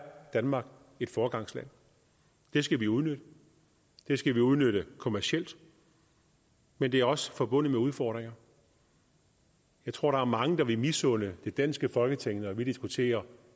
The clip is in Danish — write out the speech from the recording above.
danmark et foregangsland det skal vi udnytte det skal vi udnytte kommercielt men det er også forbundet med udfordringer jeg tror der er mange der vil misunde det danske folketing når vi diskuterer